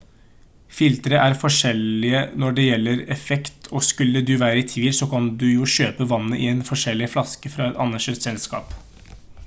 filtre er forskjellige når det gjelder effekt og skulle du være i tvil så kan du jo kjøpe vannet i en forseglet flaske fra et anerkjent selskap